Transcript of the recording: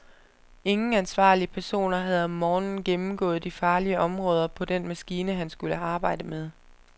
Ingen ansvarlige personer havde om morgenen gennemgået de farlige områder på den maskine, han skulle arbejde ved.